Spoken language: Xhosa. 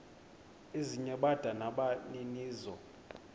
ezinye bada nabaninizo